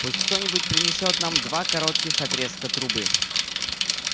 пусть кто-нибудь принесёт нам два коротких отрезка трубы